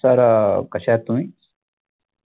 sir कशे आहात तुम्ही?